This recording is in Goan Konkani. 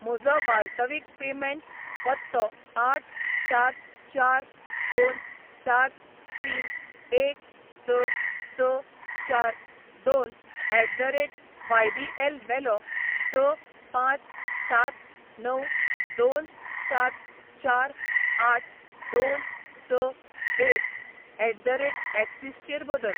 म्हजो वाल्तवीक पेमेंट पत्तो आठ सात चार दोन सात तीन एक स स चार दोन एट द रेट वायबीएल वेलो स पांच सात णव दोन सात चार आठ दोन स एक एट द रेट एक्सीस चेर बदल.